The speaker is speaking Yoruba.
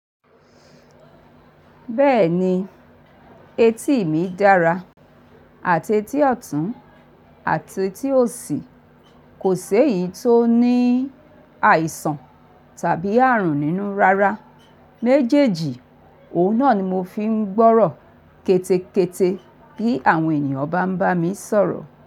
Bẹ́ẹ̀ni, etí mi dára, àti etí ọ̀tún, àti etí òsì. Kò sé èyí tó ní àìsàn tàbí àrùn nínú rárá. Méjèèjì, òun náà ni mo fi ń gbọ́rọ̀ kété kété bí àwọn ènìyàn bá ń bá mi sọ̀rọ̀